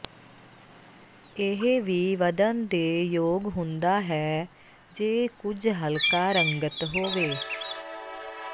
ਇਹ ਵੀ ਵਧਣ ਦੇ ਯੋਗ ਹੁੰਦਾ ਹੈ ਜੇ ਕੁਝ ਹਲਕਾ ਰੰਗਤ ਹੋਵੇ